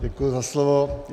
Děkuji za slovo.